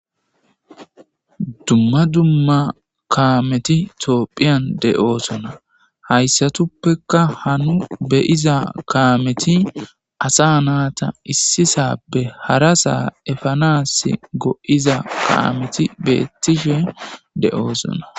Dumma dumma kamethi thophiyan deo'ssonna. Hayssathappe ha nu be'zza kamethi assa natha issisappe harassa efanas goo'zza kametti bethishe deo'ssonna.